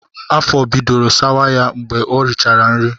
Afọ bidoro sawa ha mgbe ha richara nri